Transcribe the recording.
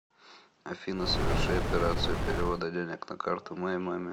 афина соверши операцию перевода денег на карту моей маме